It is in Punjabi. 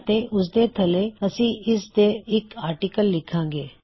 ਅਤੇ ਉਸਦੇ ਥੱਲੇ ਅਸੀ ਇਸ ਤੇ ਇਕ ਆਰਟਿਕਲ ਲਿਖਾਂਗੇ